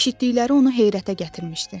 Eşitdikləri onu heyrətə gətirmişdi.